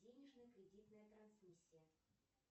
денежная кредитная трансмиссия